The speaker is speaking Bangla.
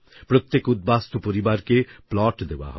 প্রত্যেক উদ্বাস্তু পরিবারকে প্লট দেওয়া হবে